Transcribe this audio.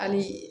Hali